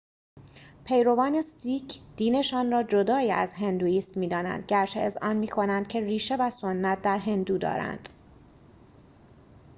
پیروان سیک دینشان را جدای از هندوئیسم می‌دانند گرچه اذعان می‌کنند که ریشه و سنت در هندو دارد